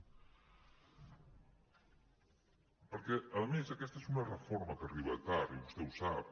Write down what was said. perquè a més aquesta és una reforma que arriba tard i vostè ho sap